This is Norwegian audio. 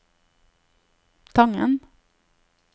Tangen